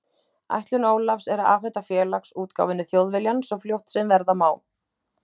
Ætlun Ólafs er að afhenda Félags- útgáfunni Þjóðviljann svo fljótt sem verða má.